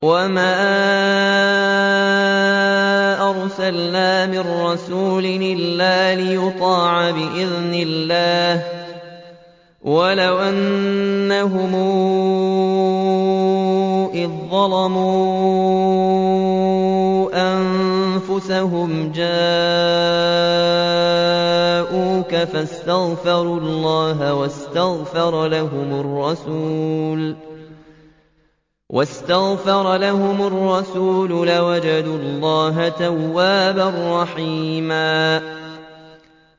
وَمَا أَرْسَلْنَا مِن رَّسُولٍ إِلَّا لِيُطَاعَ بِإِذْنِ اللَّهِ ۚ وَلَوْ أَنَّهُمْ إِذ ظَّلَمُوا أَنفُسَهُمْ جَاءُوكَ فَاسْتَغْفَرُوا اللَّهَ وَاسْتَغْفَرَ لَهُمُ الرَّسُولُ لَوَجَدُوا اللَّهَ تَوَّابًا رَّحِيمًا